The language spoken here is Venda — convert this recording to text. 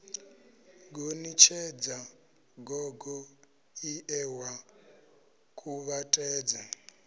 gonitshedza gogo ie wa kuvhatedza